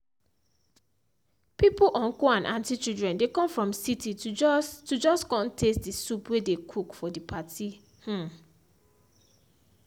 pipo uncle and aunty children dey come from city to just to just con taste the soup wey dey cook for the party um